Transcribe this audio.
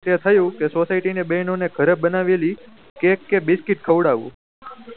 તે થયું કે society ના બેહેનો ને ઘરે બનાયેલી કેક કે બિસ્કીટ ખવડઉં